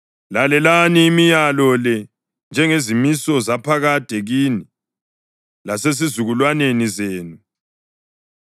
Lalelani imilayo le njengezimiso zaphakade kini lasezizukulwaneni zenu.